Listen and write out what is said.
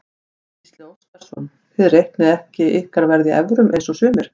Gísli Óskarsson: Þið reiknið ekki ykkar verð í evrum eins og sumir?